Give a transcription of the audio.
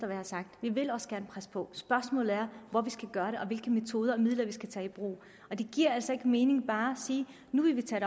jeg har sagt vi vil også gerne presse på spørgsmålet er hvor vi skal gøre det og hvilke metoder og midler vi skal tage i brug det giver altså ikke mening bare at sige nu vil vi tage